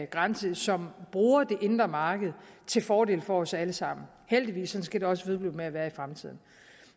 grænse som bruger det indre marked til fordel for os alle sammen heldigvis og sådan skal det også vedblive med at være i fremtiden